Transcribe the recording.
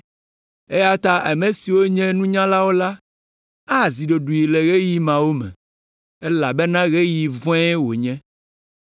eya ta ame siwo nye nunyalawo la, azi ɖoɖoe le ɣeyiɣi mawo me, elabena ɣeyiɣi vɔ̃e wònye.